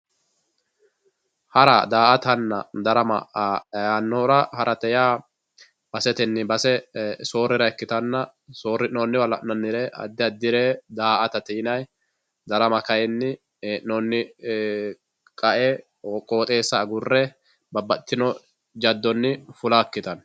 hara, daa"atanna darama yaanoora harate yaa basetenni base soorira ikkitanna soorri'nooniwa la'nanire addi addire daa"atete yinayii darama kayiini hee'nooni qa"e qooxeessa agurre babbaxitino jaddonni fula ikkitanno.